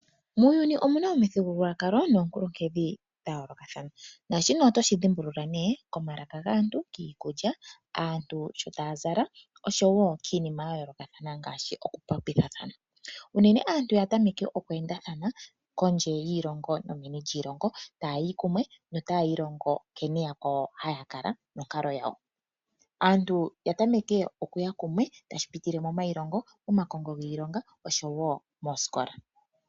Muuyuni omu na omithigululwakalo noonkuluhedhi dha yoolokathana, naashino oto shi dhimbulula nee komalaka gaantu, kiikulya, aantu sho ta ya zala osho wo kiinima ya yoolokathana ngaashi okulongitha than. Unene aantu ya tameke oku endathana kondje yiilongo nomeni lyiilongo, ta ya yi kumwe nota ya ilongo nkene yakwawo ha ya kala nonkalo yawo. Aantu ya tameke oku ya kumwe tashi pitile momailongo, omakongo giilonga osho wo moosikola.